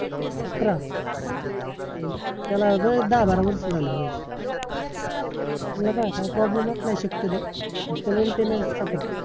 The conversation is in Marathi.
अकरा? त्याला लय दहा बारा वर्ष झाली म्हणायची त्याला काय problems अच नाय शक्यतो फक्त maintenance चा खर्च